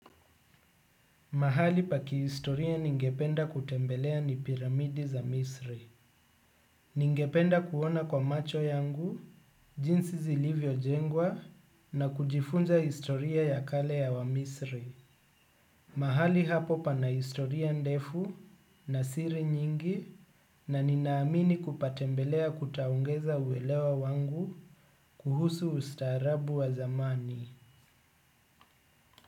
Mahali pa kihistoria ningependa kutembelea ni piramidi za misri. Ningependa kuona kwa macho yangu jinsi zilivyo jengwa na kujifunza historia ya kale ya wa misri. Mahali hapo pana historia ndefu na siri nyingi na ninaamini kupatembelea kutaungeza uelewa wangu kuhusu ustaarabu wa zamani.